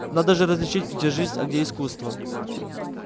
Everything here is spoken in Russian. надо же различить где жизнь а где искусство